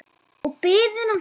Og biðina.